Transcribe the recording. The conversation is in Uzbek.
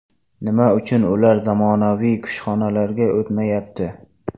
Nima uchun ular zamonaviy kushxonalarga o‘tmayapti?